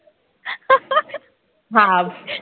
ভাব